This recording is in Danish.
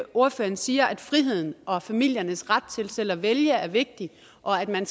ordføreren siger at friheden og familiernes ret til selv at vælge er vigtig og at man